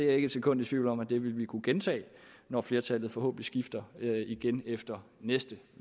er ikke et sekund i tvivl om at vi vil kunne gentage det når flertallet forhåbentlig skifter efter næste